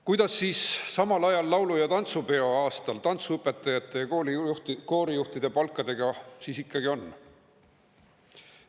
Kuidas siis samal ajal, laulu‑ ja tantsupeo aastal, tantsuõpetajate ja koorijuhtide palkadega ikkagi on?